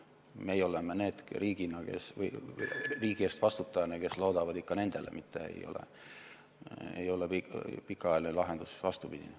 Meie oleme riigi eest vastutajana need, kes loodavad ikka nendele, vastupidine ei ole pikaajaline lahendus.